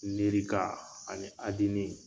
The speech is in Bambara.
ani